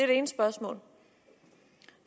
det ene spørgsmål